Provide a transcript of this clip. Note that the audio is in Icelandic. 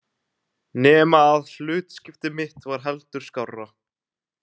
Nema að hlutskipti mitt var heldur skárra.